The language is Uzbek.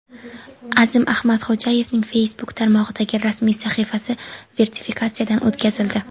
Azim Ahmadxo‘jayevning Facebook tarmog‘idagi rasmiy sahifasi verifikatsiyadan o‘tkazildi.